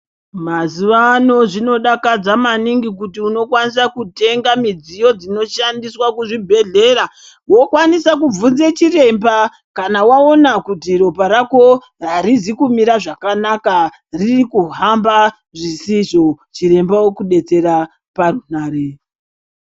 Mazuvano zvino dakadza maningi kuti unokwanisa kutenga midziyo dzino shandiswa ku zvi bhedhlera wokwanisa kubvunza chiremba kana waona kuti ropa rako riri arizi kumira zvakanaka riri kuhamba zvisizvo chirmba oku detsera parunhare.